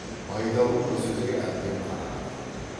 байдалы мына сөзге әбден қанағат қылды